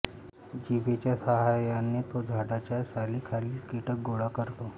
जिभेच्या सहाय्याने तो झाडाच्या सालीखालील कीटक गोळा करतो